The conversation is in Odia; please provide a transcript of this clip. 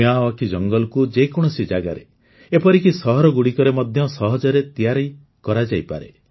ମିୟାୱାକି ଜଙ୍ଗଲକୁ ଯେ କୌଣସି ଜାଗାରେ ଏପରିକି ସହରଗୁଡ଼ିକରେ ମଧ୍ୟ ସହଜରେ ତିଆରି କରାଯାଇପାରେ